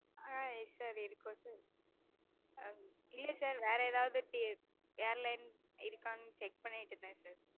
ஆஹ் sir இருக்கும் sir இல்ல sir வேற எதாவது airlines இருக்கானு check பண்ணிட்டிருந்தேன் sir